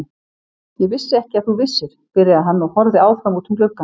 Ég vissi ekki að þú vissir, byrjaði hann og horfði áfram út um gluggann.